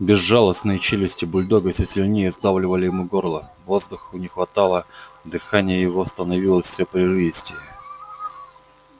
безжалостные челюсти бульдога всё сильнее сдавливали ему горло воздуху не хватало дыхание его становилось всё прерывистее